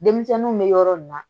Denmisɛnninw bɛ yɔrɔ min na